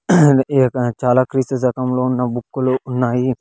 ఈ యొక్క చాలా క్రీస్తు శకంలో ఉన్న బుక్ లు ఉన్నాయి.